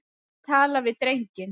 Ég tala við drenginn.